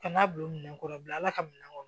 Ka n'a bila minɛ kɔrɔ bi ala ka minɛ kɔnɔ